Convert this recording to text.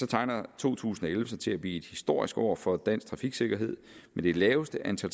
tegner to tusind og elleve sig til at blive et historisk år for dansk trafiksikkerhed med det laveste antal